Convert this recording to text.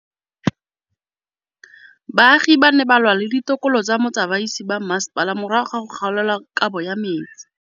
Baagi ba ne ba lwa le ditokolo tsa botsamaisi ba mmasepala morago ga go gaolelwa kabo metsi